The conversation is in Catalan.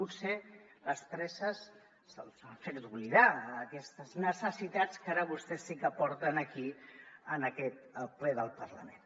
potser les presses els han fet oblidar aquestes necessitats que ara vostès sí que porten aquí en aquest ple del parlament